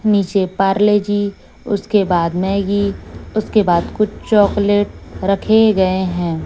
नीचे पार्ले जी उसके बाद मैगी उसके बाद कुछ चॉकलेट रखे गए है।